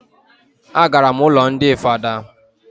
A gara m ụlọ ndị father